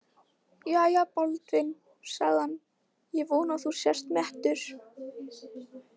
Jæja, Baldvin, sagði hann,-ég vona að þú sért mettur.